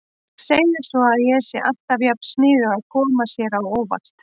Segir svo að ég sé alltaf jafn sniðug að koma sér á óvart.